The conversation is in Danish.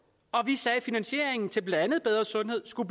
og vi sagde at finansieringen til blandt andet bedre sundhed skulle